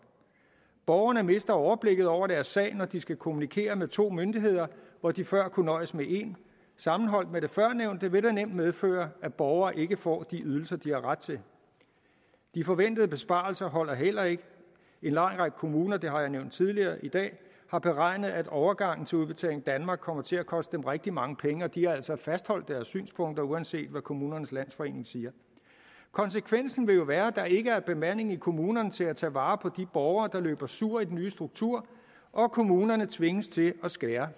borgerne mister overblikket over deres sag når de skal kommunikere med to myndigheder hvor de før kunne nøjes med en sammenholdt med det førnævnte vil det nemt medføre at borgere ikke får de ydelser de har ret til de forventede besparelser holder heller ikke en lang række kommuner det har jeg nævnt tidligere i dag har beregnet at overgangen til udbetaling danmark kommer til at koste dem rigtig mange penge de har altså fastholdt deres synspunkter uanset hvad kommunernes landsforening siger konsekvensen vil jo være at der ikke er bemanding i kommunerne til at tage vare på de borgere der løber sur i den nye struktur og kommunerne tvinges til at skære